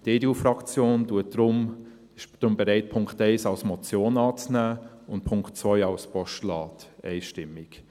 Die EDU-Fraktion ist deshalb bereit, den Punkt 1 als Motion anzunehmen und den Punkt 2 als Postulat, einstimmig.